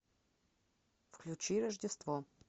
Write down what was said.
включи рождество